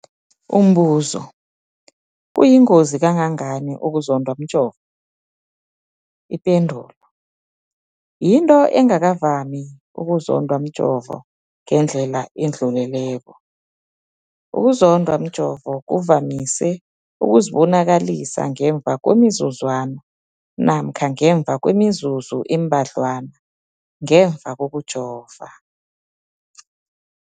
Umbuzo, kuyingozi kangangani ukuzondwa mjovo? Ipendulo, yinto engakavami ukuzondwa mjovo ngendlela edluleleko. Ukuzondwa mjovo kuvamise ukuzibonakalisa ngemva kwemizuzwana namkha ngemva kwemizuzu embadlwana ngemva kokujova.